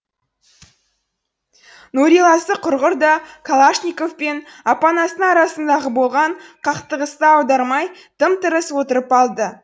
нұриласы құрғыр да калашников пен апанастың арасындағы болған қақтығысты аудармай тым тырыс отырып алды